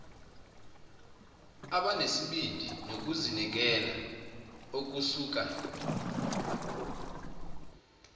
abanesibindi nokuzinikela okusuka